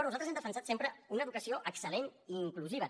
nosaltres hem defensat sempre una educació excel·i inclusiva